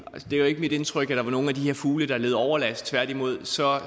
er ikke mit indtryk at der var nogen af de her fugle der led overlast tværtimod så